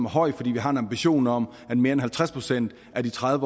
høj fordi vi har en ambition om at mere end halvtreds procent af de tredive